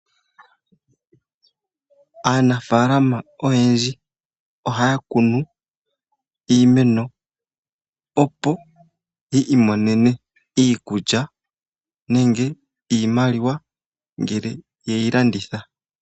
Aanafaalama oyendji ohaya kunu iimeno opo yi imonene iikulya nenge iimaliwa ngele ye yi landitha.